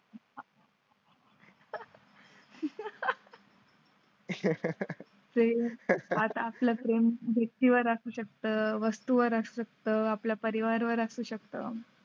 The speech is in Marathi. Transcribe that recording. ते आता आपल्या भेटी शकता, वस्तू वर असू शकता. आपला परिवार वर असू शकतं.